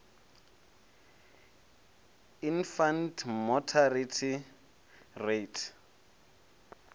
infant mortality rate